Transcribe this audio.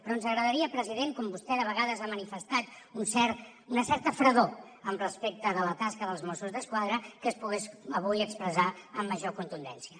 però ens agradaria president com que vostè de vegades ha manifestat una certa fredor respecte de la tasca dels mossos d’esquadra que es pogués avui expressar amb major contundència